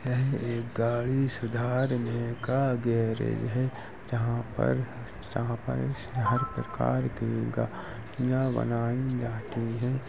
यह एक गाड़ी सुधारने का गैराज है जहां पर हर प्रकार की गाड़ियां बनाई जाती हैं।